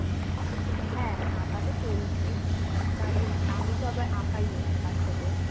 হ্যাঁ, আঁকাতো চলছেই. আঁকা ইম আমিতো আবার আঁকাইও বাছাদের.